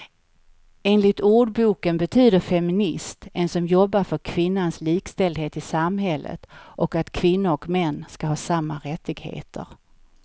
Enligt ordboken betyder feminist en som jobbar för kvinnans likställdhet i samhället och att kvinnor och män ska ha samma rättigheter.